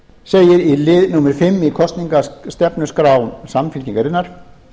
segir í lið númer fimm í kosningastefnuskrá samfylkingarinnar